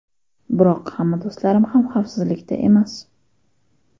Biroq hamma do‘stlarim ham xavfsizlikda emas.